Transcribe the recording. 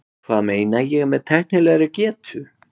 Hvað meina ég með tæknilegri getu?